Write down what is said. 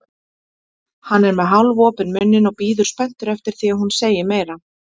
Hann er með hálfopinn munninn og bíður spenntur eftir því að hún segi meira.